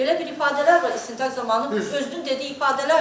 Belə bir ifadələr var istintaq zamanı, özünün dediyi ifadələrdir.